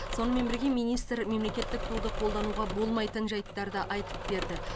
сонымен бірге министр мемлекеттік туды қолдануға болмайтын жайттарды айтып берді